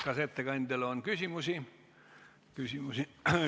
Kas ettekandjale on küsimusi?